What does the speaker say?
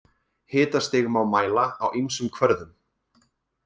Hitastig má mæla á ýmsum kvörðum.